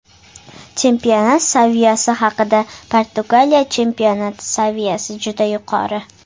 Chempionat saviyasi haqida Portugaliya chempionati saviyasi juda yuqori.